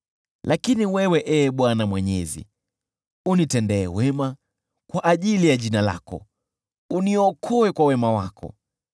Lakini wewe, Ee Bwana Mwenyezi, unitendee wema kwa ajili ya jina lako, uniokoe kwa wema wa pendo lako.